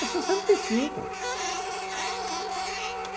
É sessenta e cinco.